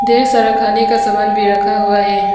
ढेर सारा खाने का सामान भी रखा हुआ है।